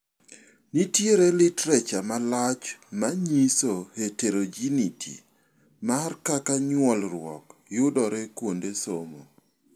Nitiere literature malach manyiso heterogeneity mar kaka nyuolruok yudore kuonde somo.